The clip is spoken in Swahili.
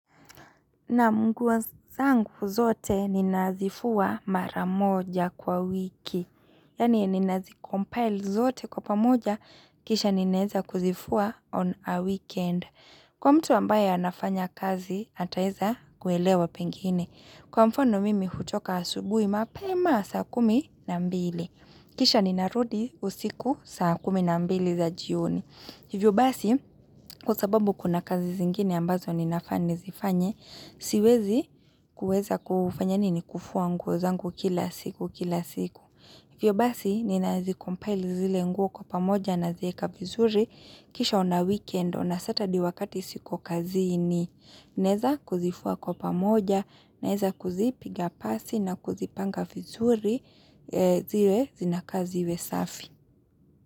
Naam nguo zangu zote ninazifua mara moja kwa wiki. Yani ninazikompile zote kwa pamoja kisha ninaeza kuzifua on a weekend. Kwa mtu ambaye anafanya kazi ataeza kuelewa pengine. Kwa mfano mimi hutoka asubui mapema saa kumi na mbili. Kisha ninarudi usiku saa kumi na mbili za jioni. Hivyo basi, kwa sababu kuna kazi zingine ambazo ninafaa nizifanye, siwezi kuweza kufanya nini kufua nguo zangu kila siku kila siku. Hivyo basi, ninazicompile zile nguo kwa pamoja nazieka vizuri, kisha on a weekend on saturday wakati siko kazi nineza kuzifua kwa pamoja naeza kuzipiga pasi na kuzipanga vizuri zile zinaka ziwe safi.